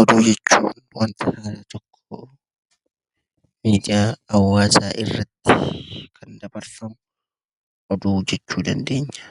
Oduu jechuun; wanta haaraa tokkoo miidiyaa hawaasa tokko irraatti Kan darbarfamuu oduu jechuu dandeenya.